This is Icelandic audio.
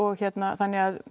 þannig